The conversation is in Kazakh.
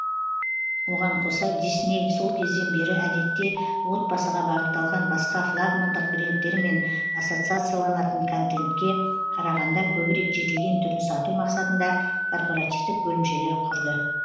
оған қоса дисней сол кезден бері әдетте отбасыға бағытталған басқа флагмандық брендтермен ассоциацияланатын контентке қарағанда көбірек жетілген түрін сату мақсатында корпоративтік бөлімшелер құрды